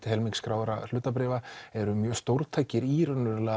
helming skráðra hlutabréfa eru mjög stórtækir í